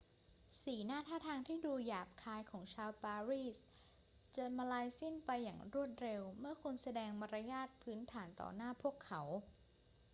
สีหน้าท่าทางที่ดูหยาบคายของชาวปารีสจะมลายสิ้นไปอย่างรวดเร็วเมื่อคุณแสดงมารยาทพื้นฐานต่อหน้าพวกเขา